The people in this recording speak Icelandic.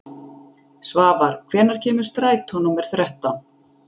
Svafar, hvenær kemur strætó númer þrettán?